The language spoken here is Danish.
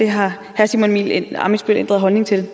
har herre simon emil ammitzbøll ændret holdning til